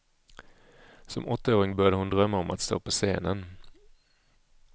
Som åttaåring började hon drömma om att stå på scenen.